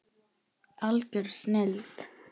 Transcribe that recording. Algjör snilld.